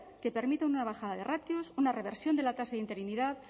que permita una bajada de ratios una reversión de la tasa de interinidad